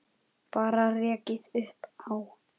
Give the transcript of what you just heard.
Bara rekið upp Á!